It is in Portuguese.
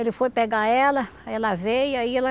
Ele foi pegar ela, aí ela veio, aí ela